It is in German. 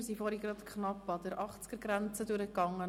Zuvor sind wir gerade knapp an der Achtzigergrenze durchgegangen.